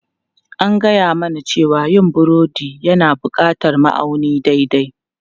An gaya mana cewa yin burodi yana buƙatar ma'auni daidai.